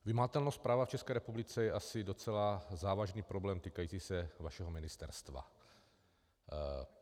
Vymahatelnost práva v České republice je asi docela závažný problém týkající se vašeho ministerstva.